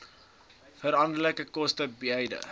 veranderlike koste beide